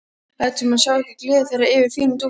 Lætur sem hann sjái ekki gleði þeirra yfir fínu dúfunni.